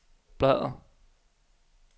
bladr